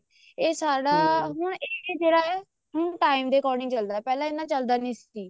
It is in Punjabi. ਇਹ ਸਾਡਾ ਹੁਣ ਇਹ ਜਿਹੜਾ ਹੈ ਹੁਣ time ਦੇ according ਚੱਲਦਾ ਪਹਿਲਾਂ ਇੰਨਾ ਚੱਲਦਾ ਨੀ ਸੀ